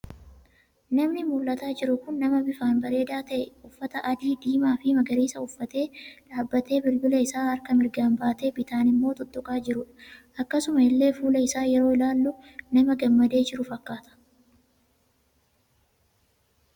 Namni mul'ataa jiru kun nama bifan bareeda ta'e uffata adii, diimaa fi magariisa uffatee dhaabbatee bilbila isa harka mirgan baatee bitaan immoo tuttuqaa jirudha. akkasuma illee fuula isa yeroo ilaallu nama gammadee jiru fakkaata.